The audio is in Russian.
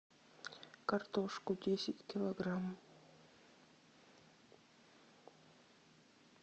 картошку десять килограмм